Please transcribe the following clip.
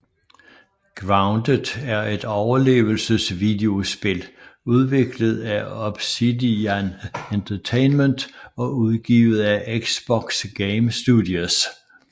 Grounded er et overlevelsesvideospil udviklet af Obsidian Entertainment og udgivet af Xbox Game Studios